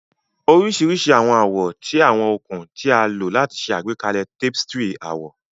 oriṣiriṣi awọn awọ ti awọn okun ti a lo lati ṣe agbekalẹ tapestry awọ.